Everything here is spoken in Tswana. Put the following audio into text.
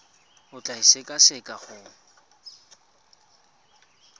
o tla e sekaseka go